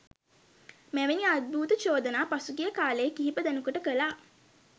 මෙවැනි අද්භූත චෝදනා පසුගිය කාලේ කිහිප දෙනෙකුට කළා